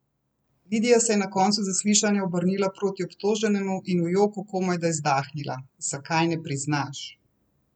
Lidija se je na koncu zaslišanja obrnila proti obtoženemu in v joku komajda izdahnila: "Zakaj ne priznaš?